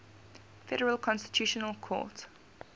federal constitutional court